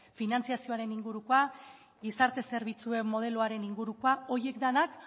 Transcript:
finantziazioaren ingurukoa gizarte zerbitzuen modeloaren ingurukoa horiek denak